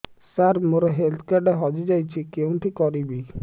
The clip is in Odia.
ସାର ମୋର ହେଲ୍ଥ କାର୍ଡ ହଜି ଯାଇଛି କେଉଁଠି କରିବି